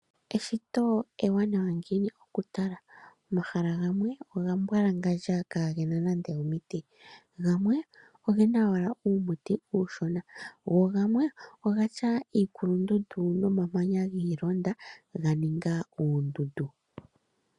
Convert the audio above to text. Eshito ewanawa ngiini oku tala. Omahala gamwe oga mbwalangandja kaage na nande omiti. Gamwe oge na uumuti uushona. Go gamwe oge na iikulundundu